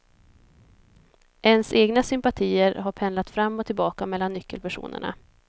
Ens egna sympatier har pendlat fram och tillbaka mellan nyckelpersonerna.